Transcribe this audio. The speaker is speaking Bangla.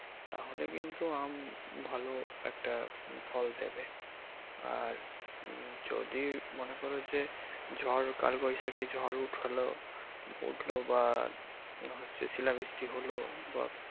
তাহলে কিন্তু আম ভালো একটা ফল দেবে আর উম যদি মনে করো যে ঝড় কাল বৈশাখী ঝড় উঠলো উঠলো বা হচ্ছে শিলা বৃষ্টি হলো বা।